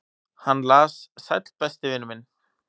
"""Hann las: Sæll, besti vinur minn."""